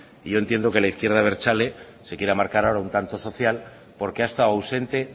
yo entiendo que la izquierda abertzale se quiera marcar ahora un tanto social porque ha estado ausente